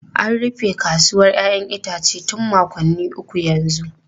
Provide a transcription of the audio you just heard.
An rufe kasuwar 'ya'yan itace tun makonni uku yanzu.